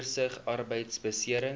oorsig arbeidbeserings